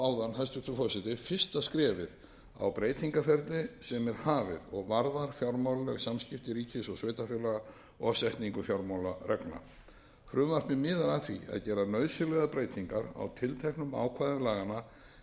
forseti fyrsta skrefið á breytingaferli sem er hafið og varðar fjármálaleg samskipti ríkis og sveitarfélaga og setningu fjármálareglna frumvarpið miðar að því að gera nauðsynlegar breytingar á tilteknum ákvæðum laganna er varðar